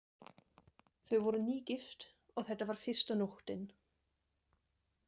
Þau voru nýgift og þetta var fyrsta nóttin.